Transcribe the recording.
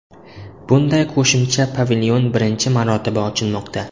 Bunday qo‘shimcha pavilyon birinchi marotaba ochilmoqda.